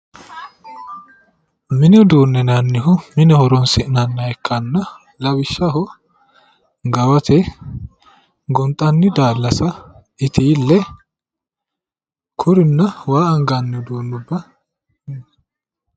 Mini uduune yinnanihu mine horonsi'nanniha ikkanna lawishshaho gawate, gonxanni daallasa, itile kurinna waa anganni uduunubba